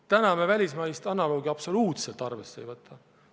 Täna me välismaist analoogi absoluutselt arvesse ei võta.